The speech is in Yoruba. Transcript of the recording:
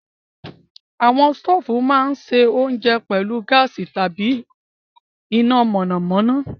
Àwọn sùùtù máa ń se oúnjẹ pẹ̀lú gáàsì tàbí iná mọ̀nàmọ́ná.